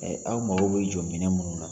aw mago bɛ jɔ minɛn minnu na.